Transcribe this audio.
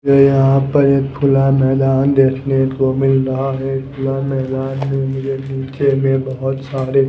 ये यहां पर एक खुला मैदान देखने को मिल रहा है खुला मैदान में मुझे में बहुत सारे--